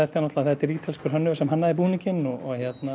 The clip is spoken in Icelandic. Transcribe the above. náttúrulega þetta er ítalskur hönnuður sem hannaði búninginn og hérna